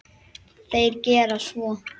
Þeir gera svo.